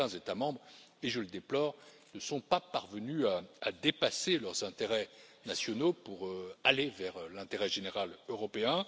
Certains États membres et je le déplore ne sont pas parvenus à dépasser leurs intérêts nationaux pour aller vers l'intérêt général européen.